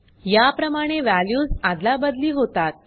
या प्रमाणे वॅल्यूज आदलाबदली होतात